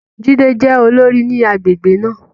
Jídé jẹ́ olórí ní agbègbè náà.